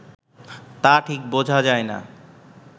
তা ঠিক বোঝা যায় না